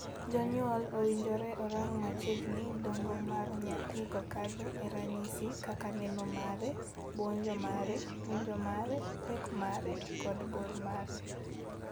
Jonyuol owinjore orang machiegni dongo mar nyathi kokadho e ranyisi kaka neno mare, buonjo mare, winjo mare, pek mare, kod bor mare.